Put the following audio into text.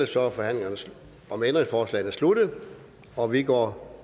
så er forhandlingen om ændringsforslagene sluttet og vi går